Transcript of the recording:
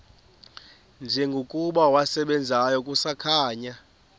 njengokuba wasebenzayo kusakhanya